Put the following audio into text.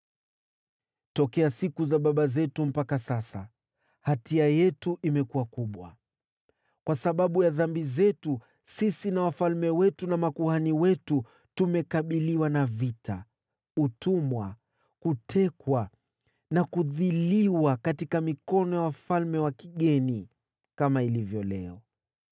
Tokea siku za babu zetu mpaka sasa, hatia yetu imekuwa kubwa. Kwa sababu ya dhambi zetu, sisi na wafalme wetu na makuhani wetu tumekabiliwa na vita, utumwa, kutekwa na kudhiliwa katika mikono ya wafalme wa kigeni, kama ilivyo leo.